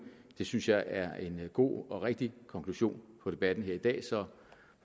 det synes jeg er en god og rigtig konklusion på debatten her i dag så